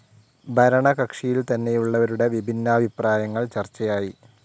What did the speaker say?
ഭരണകക്ഷിയിൽ തന്നെയുള്ളവരുടെ വിഭിന്നാഭിപ്രായങ്ങൾ ചർച്ചയായി.